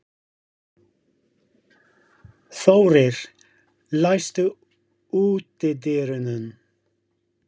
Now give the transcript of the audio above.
Þórir, læstu útidyrunum.